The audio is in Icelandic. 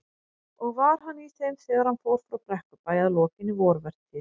Og var hann í þeim þegar hann fór frá Brekkubæ að lokinni vorvertíð.